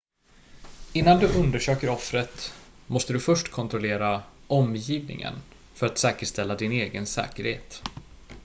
innan du undersöker offret måste du först kontrollera omgivningen för att säkerställa din egen säkerhet